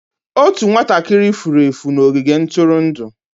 Otu nwatakịrị furu efu n'ogige ntụrụndụ.